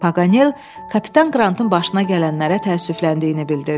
Paqanel Kapitan Qrantın başına gələnlərə təəssüfləndiyini bildirdi.